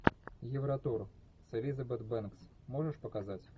евротур с элизабет бэнкс можешь показать